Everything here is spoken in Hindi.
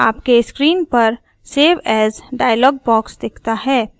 आपके स्क्रीन पर save as डायलॉग बॉक्स दिखता है